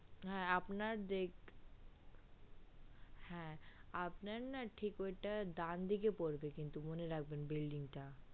হ্যা আপনার দেখ হ্যা আপনার না ঠিক ওটা ডান দিকে পড়বে কিন্তু মনে রাখবেন building টা